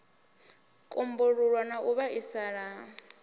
kumbululwa na u vhaisala ha